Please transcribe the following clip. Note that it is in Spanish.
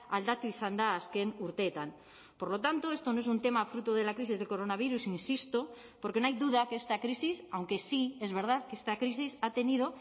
aldatu izan da azken urteetan por lo tanto esto no es un tema fruto de la crisis del coronavirus insisto porque no hay duda que esta crisis aunque sí es verdad que esta crisis ha tenido